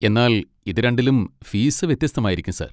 എന്നാൽ ഇത് രണ്ടിലും ഫീസ് വ്യത്യസ്തമായിരിക്കും സർ.